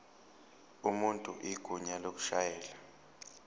umuntu igunya lokushayela